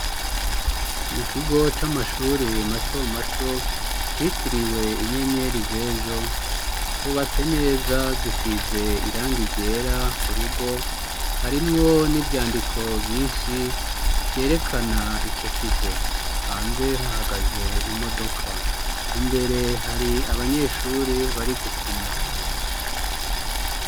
Mu kigo c'amashuri mato mato citiriwe inyenyeri zejo cubatse neza gisize iranga iryera ku rugo harimwo n'ivyandiko vyinshi vyerekana ico kigo hanze hahagaze imodoka imberea ri abanyeshuri bari gukina.